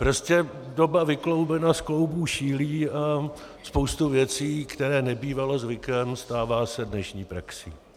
Prostě doba vykloubena z kloubů šílí a spousta věcí, která nebývala zvykem, stává se dnešní praxí.